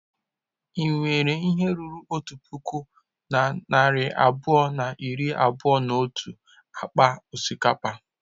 Ị nwere ihe ruru otu puku na narị abụọ na iri abụọ na otu akpa osikapa?